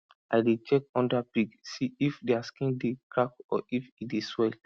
i dey check under pig see if dia skin dey crack or if e dey swell